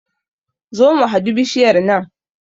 Zo mu hadu bishiyar nan